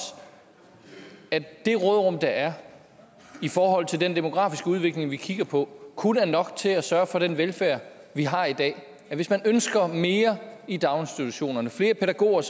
at det råderum der er i forhold til den demografiske udvikling vi kigger på kun er nok til at sørge for den velfærd vi har i dag hvis man ønsker mere i daginstitutionerne flere pædagoger